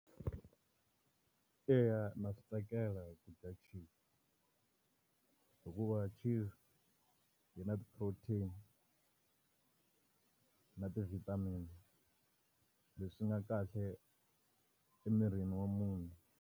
Eya ndza swi tsakela ku dya chizi hikuva chizi, yi na ti-protein na ti-vitamin. Leswi nga kahle emirini wa munhu.